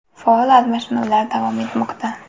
Faol almashinuvlar davom etmoqda.